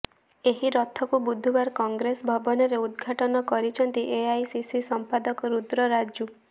ଏହି ରଥକୁ ବୁଧବାର କଂଗ୍ରେସ ଭବନରେ ଉଦଘାଟନ କରିଛନ୍ତି ଏଆଇସିସି ସମ୍ପାଦକ ରୁଦ୍ର ରାଜୁ